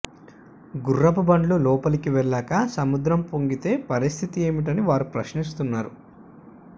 గుర్రపు బండ్లు లోపలికి వెళ్లాక సముద్రం పొంగితే పరిస్థితి ఏమిటని వారు ప్రశ్నిస్తున్నారు